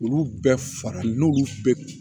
Olu bɛɛ farali n'olu bɛɛ